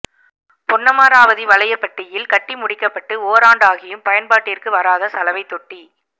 பொன்னமராவதி வலையபட்டியில் கட்டி முடிக்கப்பட்டு ஓராண்டாகியும் பயன்பாட்டிற்கு வராத சலவை தொட்டி